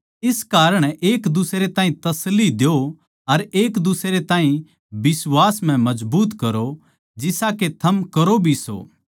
इस कारण एक दुसरे ताहीं तसल्ली द्यो अर एक दुसरे ताहीं बिश्वास म्ह मजबूत करो जिसा के थम करो भी सो